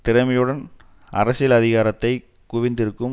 திறமையுடன் அரசியல் அதிகாரத்தை குவித்திருக்கும்